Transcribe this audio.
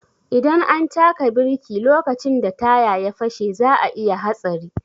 Idan an taka biriki lokacin da taya ya fashe za'a iya hatsari.